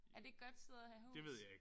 Er det et godt sted at have hus?